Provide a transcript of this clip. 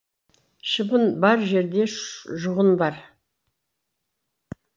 шыбын бар жерде жұғын бар